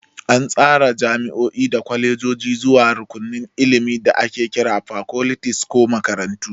An tsara jami'o'i da kwalejoji zuwa rukunin ilimi da ake kira fakoltis ko makarantu.